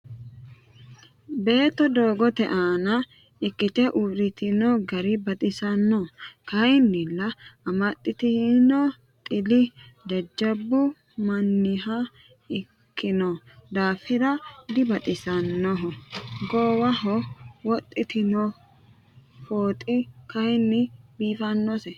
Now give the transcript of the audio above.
beeto doogote aanna ikite uuritinno gari baxisanno kayinnila amaxitinno xili jajabbu maniha ikino daafira dibaxisannoho goowaho wodhitino fooxi kayinni bifinose.